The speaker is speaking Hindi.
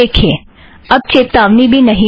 देखिए अब चेतावनी भी नहीं है